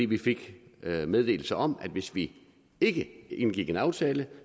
vi fik meddelelse om at hvis vi ikke indgik en aftale